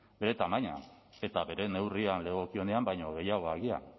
bere tamainan eta bere neurrian legokionean baino gehiago agian